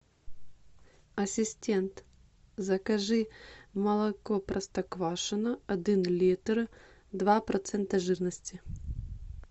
ассистент закажи молоко простоквашино один литр два процента жирности